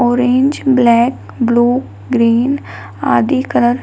Orange black blue green आदि colour.